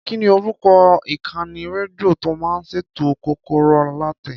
Kí ni orúkọ ìkànnì rédíò tó máa ṣètò Kọ́kọ́rọ́ Alátẹ?